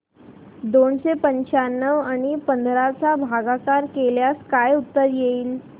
दोनशे पंच्याण्णव आणि पंधरा चा भागाकार केल्यास काय उत्तर येईल